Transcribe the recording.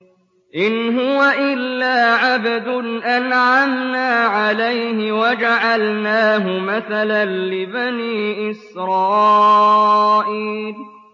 إِنْ هُوَ إِلَّا عَبْدٌ أَنْعَمْنَا عَلَيْهِ وَجَعَلْنَاهُ مَثَلًا لِّبَنِي إِسْرَائِيلَ